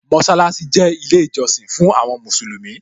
Mósálásí jẹ́ ilé ìjọsìn fún àwọn Mùsùlùmí